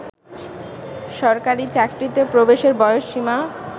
সরকারি চাকরিতে প্রবেশের বয়সসীমা